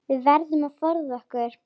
Við verðum að forða okkur.